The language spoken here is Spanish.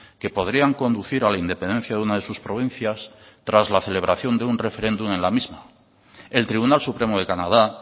que podrían conducir a la independencia de una de sus provincias tras la celebración de un referéndum en la misma el tribunal supremo de canadá